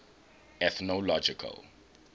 ethnological